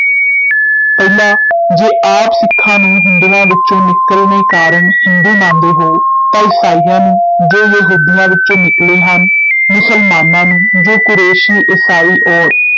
ਪਹਿਲਾ ਜੇ ਆਪ ਸਿੱਖਾਂ ਨੂੰ ਹਿੰਦੂਆਂ ਵਿਚੋਂ ਨਿਕਲਣੇ ਕਾਰਨ ਹਿੰਦੂ ਮੰਨਦੇ ਹੋ ਤਾਂ ਈਸਾਈਆਂ ਨੂੰ, ਜੋ ਯਹੂਦੀਆਂ ਵਿਚੋਂ ਨਿਕਲੇ ਹਨ, ਮੁਸਲਮਾਨਾਂ ਨੂੰ, ਜੋ ਕੁਰੈਸ਼ੀ ਈਸਾਈ ਔਰ